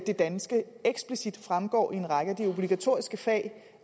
det danske eksplicit fremgår i en række af de obligatoriske fag